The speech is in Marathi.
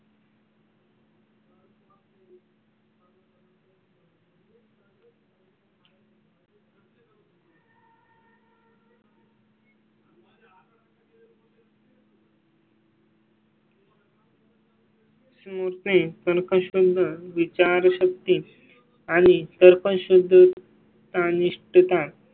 सुर ते कस्टम विचारशक्ती आणि तर्कशुद्ध तान इष्ट ता.